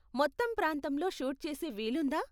మొత్తం ప్రాంతంలో షూట్ చేసే వీలుందా?